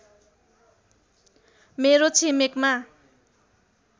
मेरो छिमेकमा